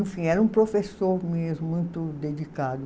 Enfim, era um professor mesmo, muito dedicado.